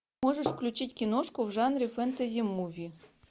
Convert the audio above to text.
можешь включить киношку в жанре фентази муви